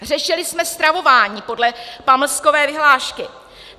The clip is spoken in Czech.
Řešili jsme stravování podle pamlskové vyhlášky.